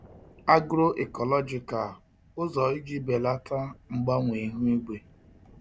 Agro-ecological ụzọ iji belata mgbanwe ihu igwe